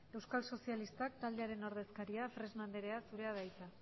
euskal sozialistak taldearen ordezkaria fresno andrea zurea da hitza